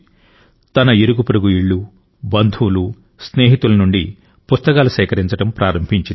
తన ఇరుగుపొరుగు ఇళ్ళు బంధువులు స్నేహితుల నుండి పుస్తకాలు సేకరించడం ప్రారంభించింది